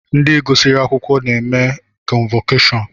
Ndi gụsiri akwụkwọ na-eme kọnvọkashọnụ